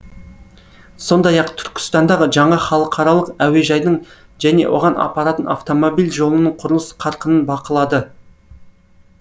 сондай ақ түркістанда жаңа халықаралық әуежайдың және оған апаратын автомобиль жолының құрылыс қарқынын бақылады